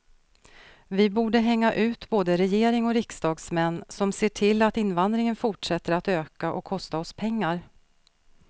Vi borde hänga ut både regering och riksdagsmän som ser till att invandringen fortsätter att öka och kosta oss pengar.